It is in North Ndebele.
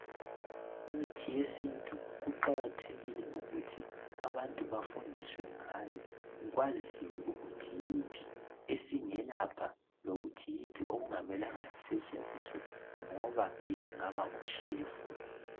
Imithi yesintu iqakathekile ukuthi abantu bafundiswe ngayo kwaziwe ukuthi yiphi esingelapha lokuthi yiphi okungamelanga isetshenziswe ngoba isingaba ngu shefu.